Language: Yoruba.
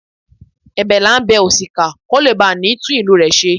Ẹ̀bẹ̀ là bá bẹ òṣìkà kó lè bá ni tún ìlú rẹ̀ ṣe.